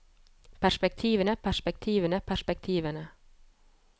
perspektivene perspektivene perspektivene